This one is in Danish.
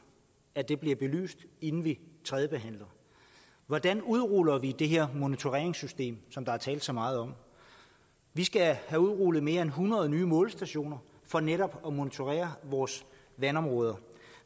at det bliver belyst inden vi tredjebehandler hvordan udruller vi det her monitoreringssystem som der er blevet talt så meget om vi skal have udrullet mere end hundrede nye målestationer for netop at monitorere vores vandområder